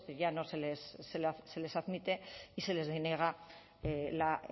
ya no se les admite y se les deniega la